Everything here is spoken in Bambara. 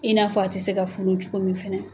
I n'a fɔ a tɛ se ka funu cogo min fɛnɛ